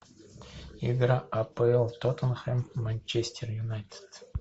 игра апл тоттенхэм манчестер юнайтед